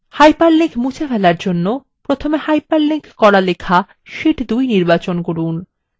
hyperlink মুছে ফেলার জন্য প্রথমে hyperlink করা লেখা শীট2 নির্বাচন করুন